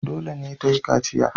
Dole ne ta yi kaciya.